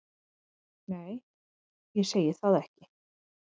Nei, ég segi það ekki.